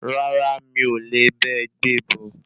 Rárá mi o le bá e gbé e bọ̀.